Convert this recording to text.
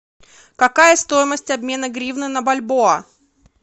какая стоимость обмена гривны на бальбоа